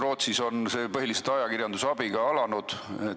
Rootsis on see põhiliselt ajakirjanduse abiga alanud.